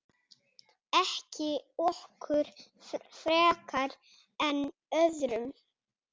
Ekki okkur frekar en öðrum.